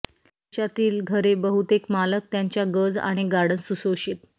देशातील घरे बहुतेक मालक त्यांच्या गज आणि गार्डन्स सुशोषित